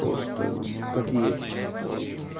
просто как есть вот